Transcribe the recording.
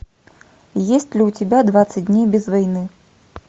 есть ли у тебя двадцать дней без войны